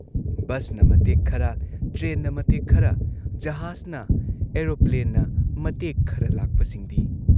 ꯕꯁꯅ ꯃꯇꯦꯛ ꯈꯔ, ꯇ꯭ꯔꯦꯟꯅ ꯃꯇꯦꯛ ꯈꯔ, ꯖꯍꯥꯖꯅ ꯑꯦꯔꯣꯄ꯭ꯂꯦꯟꯅ ꯃꯇꯦꯛ ꯈꯔ ꯂꯥꯛꯄꯁꯤꯡꯗꯤ?